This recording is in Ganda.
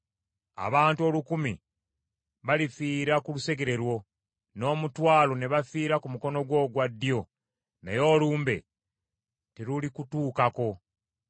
Abantu olukumi balifiira ku lusegere lwo, n’omutwalo ne bafiira ku mukono gwo ogwa ddyo, naye olumbe terulikutuukako.